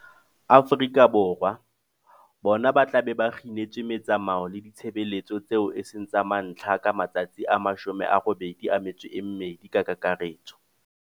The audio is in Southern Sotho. Afrika Borwa, bona ba tla be ba kginetswe metsamao le ditshebeletso tseo e seng tsa mantlha ka matsatsi a 82 ka kakaretso.